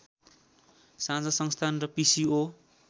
साझा संस्थान र पिसिओ